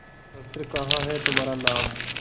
शस्त्र कहाँ है तुम्हारा नाम